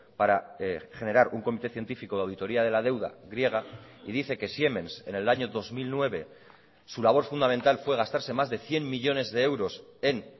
para generar un comité científico de auditoría de la deuda griega y dice que siemens en el año dos mil nueve su labor fundamental fue gastarse más de cien millónes de euros en